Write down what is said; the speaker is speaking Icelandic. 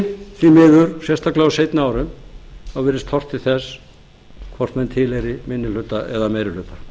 því miður sérstaklega á seinni árum virðist horft til þess hvort menn tilheyri minni hluta eða meiri